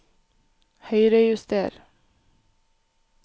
Høyrejuster